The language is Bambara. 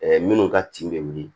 minnu ka tin bɛ wuli